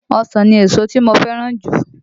Ọsàn ni èso tí mo fẹ́ràn jù